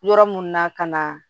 Yɔrɔ mun na ka na